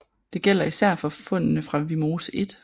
Det gælder især for fundene fra Vimose 1